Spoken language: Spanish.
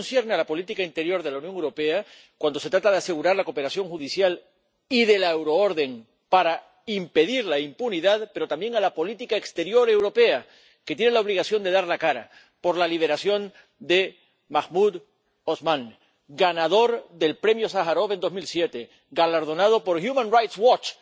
Y eso concierne a la política interior de la Unión Europea, cuando se trata de asegurar la cooperación judicial y en el marco de la euroorden, para impedir la impunidad, pero también a la política exterior europea, que tiene la obligación de dar la cara por la liberación de Mahmoud Osman, ganador del Premio Sájarov en 2007, galardonado por Human Rights Watch